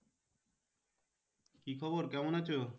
কি খবর কেমন আছো?